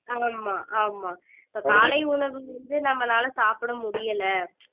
ஆமா ஆமா இப்ப காலை உணவு வந்து நம்மளால சாப்பிட முடியலை